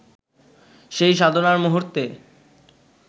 সেই সাধনার মুহূর্তে